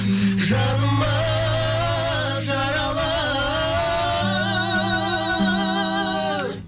жанымыз жаралы